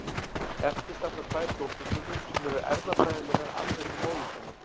Eftir standa tvær dótturfrumur sem eru erfðafræðilega alveg eins og móðurfruman.